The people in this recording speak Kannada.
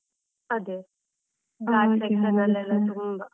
ಅದೆ, section ಅಲ್ಲಿ ಎಲ್ಲ ತುಂಬಾ.